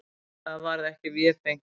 Það varð ekki vefengt.